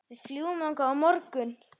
Við fljúgum þangað á morgun.